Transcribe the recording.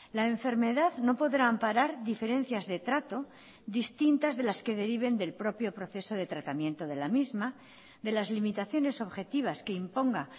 la enfermedad no podrá amparar diferencias de trato distintas de las que deriven del propio proceso de tratamiento de la misma de las limitaciones objetivas que imponga